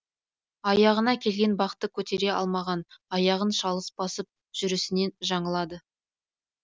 аяғына келген бақты көтере алмаған аяғын шалыс басып жүрісінен жаңылады